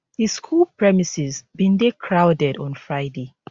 di school premises bin dey crowded on friday